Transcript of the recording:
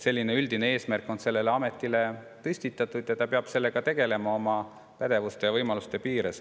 Selline üldine eesmärk on sellele ametile püstitatud ja ta peab sellega tegelema oma pädevuste ja võimaluste piires.